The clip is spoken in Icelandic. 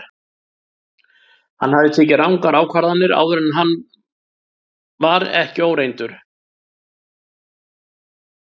Hann hafði tekið rangar ákvarðanir áður en hann var ekki óreyndur.